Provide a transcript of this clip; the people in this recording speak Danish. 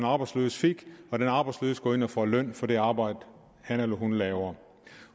arbejdsløse fik og den arbejdsløse går ind og får løn for det arbejde han eller hun laver